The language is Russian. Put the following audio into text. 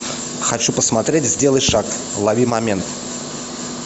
хочу посмотреть сделай шаг лови момент